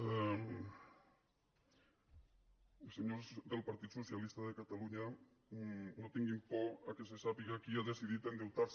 i senyors del partit socialista de catalunya no tinguin por que se sàpiga qui ha decidit endeutar se